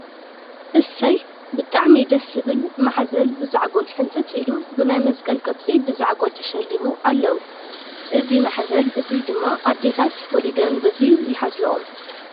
እሰይ ! ብጣዕሚ ደስ ዝብል ማሕዘል ብዛዕጎል ሕንፅፅ ኢሉ ብናይ መስቀል ቅርፂ ብዛዕጎል ተሸሊሙ ኣለው። እዚ ማሕዘል እዚ ድማ ኣዴታት ወሊደን ብዚ ይሓዝለኦም።